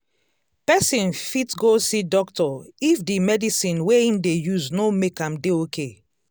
person fit go see doctor if the medicine wey im dey use no make am dey okay